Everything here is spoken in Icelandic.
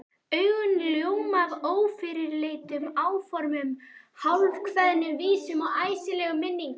Augun ljóma af ófyrirleitnum áformum, hálfkveðnum vísum og æsilegum minningum.